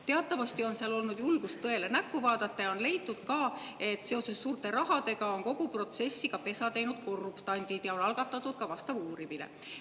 Teatavasti on seal olnud julgust tõele näkku vaadata ja on leitud, et suurte rahade tõttu on kogu protsessi pesa teinud korruptandid ja on algatatud ka uurimine.